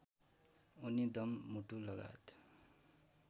उनी दम मुटुलगायत